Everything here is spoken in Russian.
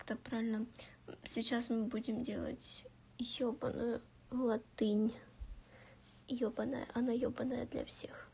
как-то правильно сейчас мы будем делать ёбаную латынь ёбанная она ёбанная для всех